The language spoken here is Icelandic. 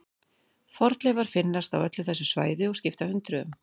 Fornleifar finnast á öllu þessu svæði og skipta hundruðum.